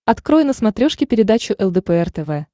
открой на смотрешке передачу лдпр тв